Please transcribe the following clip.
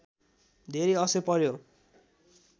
धेरै असर पर्‍यो